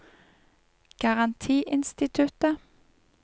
garantiinstituttet